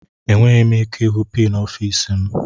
Enweghị m ike ịhụ pin ọfịs m.